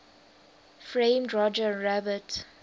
framed roger rabbit